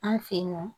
An fe yen nɔ